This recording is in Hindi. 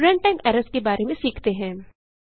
अब रनटाइम एरर्स के बारे में सीखते हैं